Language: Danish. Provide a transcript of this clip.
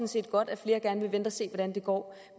set godt at flere gerne vil vente og se hvordan det går